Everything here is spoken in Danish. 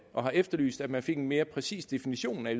og har efterlyst at man fik en mere præcis definition af